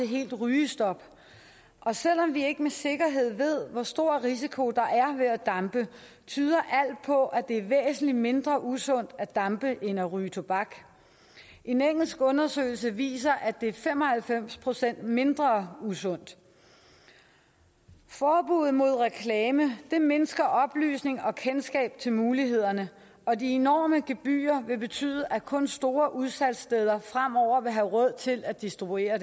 helt rygestop og selv om vi ikke med sikkerhed ved hvor stor risiko der er ved at dampe tyder alt på at det er væsentlig mindre usundt at dampe end at ryge tobak en engelsk undersøgelse viser at det er fem og halvfems procent mindre usundt forbuddet mod reklame mindsker oplysning og kendskab til mulighederne og de enorme gebyrer vil betyde at kun store udsalgssteder fremover vil have råd til at distribuere